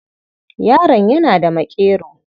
Yaron yana da maƙero.